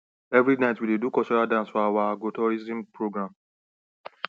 every night we dey do cultural dance for our agrotourism program